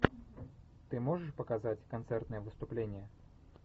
ты можешь показать концертное выступление